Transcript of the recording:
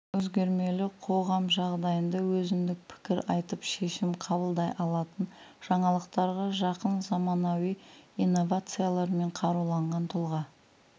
өзгермелі қоғам жағдайында өзіндік пікір айтып шешім қабылдай алатын жаңалықтарға жақын заманауи инновациялармен қаруланған тұлға